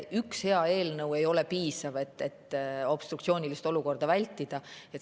Üks hea eelnõu ei ole piisav, et obstruktsioonilist olukorda vältida.